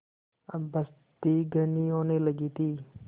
अब बस्ती घनी होने लगी थी